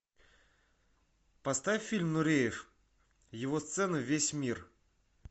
поставь фильм нуреев его сцена весь мир